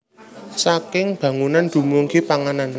Saking bangunan dumugi panganan